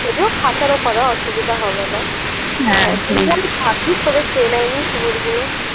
যদিও খাঁচার ওপারে অসুবিধা হবে না ভাগ্গিস ওকে খেয়ে নেয় নি কুমিরগুলো"